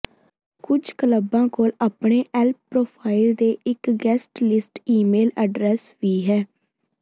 ਕੁਝ ਕਲੱਬਾਂ ਕੋਲ ਆਪਣੇ ਯੈਲਪ ਪਰੋਫਾਈਲ ਤੇ ਇੱਕ ਗੈਸਟ ਲਿਸਟ ਈਮੇਲ ਐਡਰੈੱਸ ਵੀ ਹੈ